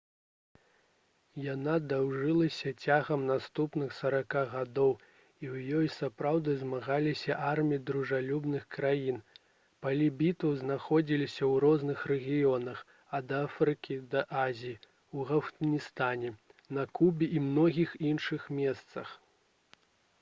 яна доўжылася цягам наступных 40 гадоў і ў ёй сапраўды змагаліся арміі дружалюбных краін палі бітваў знаходзіліся ў розных рэгіёнах ад афрыкі да азіі у афганістане на кубе і многіх іншых месцах